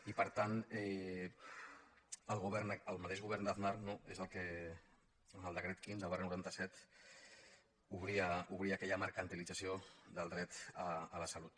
i per tant el mateix govern d’aznar és el que amb el decret quinze noranta set obria aquella mercantilització del dret a la salut